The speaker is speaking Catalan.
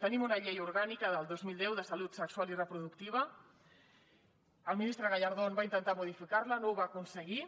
tenim una llei orgànica del dos mil deu de salut sexual i reproductiva el ministre gallardón va intentar modificar la no ho va aconseguir